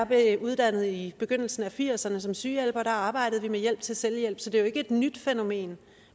blev uddannet i begyndelsen af nitten firserne som sygehjælper arbejdede vi med hjælp til selvhjælp så det er jo ikke et nyt fænomen